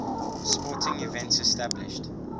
sporting events established